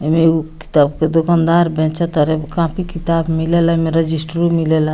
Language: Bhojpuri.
एमे एगो किताब के दुकानदार बेचे तारे कॉपी किताब मिलेला एमे रजिस्टरो मिलेला।